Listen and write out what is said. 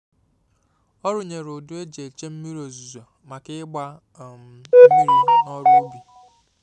Ọ rụnyere udu e ji eche mmiri ozuzo maka ịgba um mmiri na ọrụ ubi